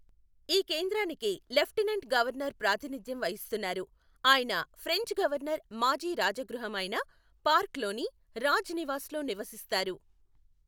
ఈ కేంద్రానికి lieutenant governor ప్రాతినిధ్యం వహిస్తున్నారు, ఆయన ఫ్రెంచ్ గవర్నర్ మాజీ రాజగృహము అయిన పార్క్ లోని రాజ్ నివాస్ లో నివసిస్తారు.